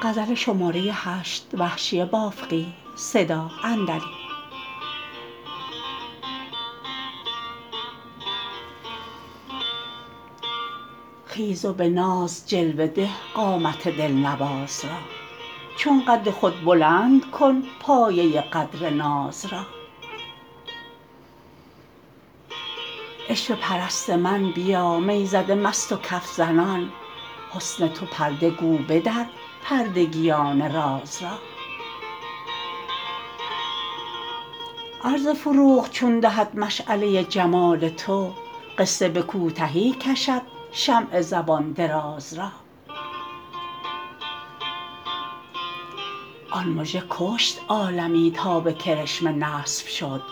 خیز و به ناز جلوه ده قامت دلنواز را چون قد خود بلند کن پایه قدر ناز را عشوه پرست من بیا می زده مست و کف زنان حسن تو پرده گو بدر پردگیان راز را عرض فروغ چون دهد مشعله جمال تو قصه به کوتهی کشد شمع زبان دراز را آن مژه کشت عالمی تا به کرشمه نصب شد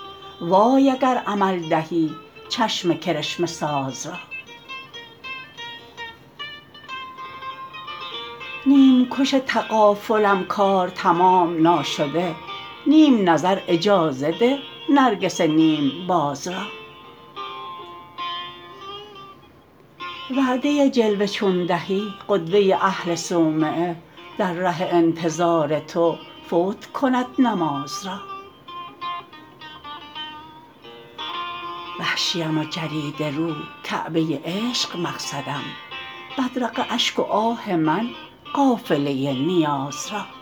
وای اگر عمل دهی چشم کرشمه ساز را نیمکش تغافلم کار تمام ناشده نیم نظر اجازه ده نرگس نیم باز را وعده جلوه چون دهی قدوه اهل صومعه در ره انتظار تو فوت کند نماز را وحشیم و جریده رو کعبه عشق مقصدم بدرقه اشک و آه من قافله نیاز را